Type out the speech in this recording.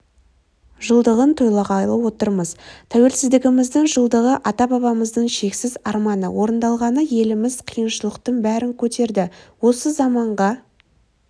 жылдығын тойлағалы отырмыз тәуелсіздігіміздің жылдығы ата-бабамыздың шексіз арманы орындалғаны еліміз қиыншылықтың бәрін көтерді осы заманға